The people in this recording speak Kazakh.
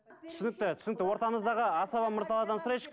түсінікті түсінікі ортамыздағы асаба мырзалардан сұрайыншы